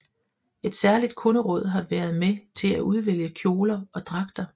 Et særligt kunderåd har været med til at udvælge kjoler og dragter